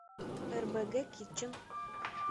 рбг китчен